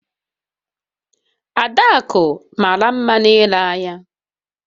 Adaku mara nma n'ile anya